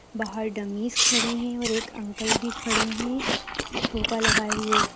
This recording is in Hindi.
बाहर डम्मीस खड़ी हैं और एक अंकल भी खड़े है टोपा लगाए हुए।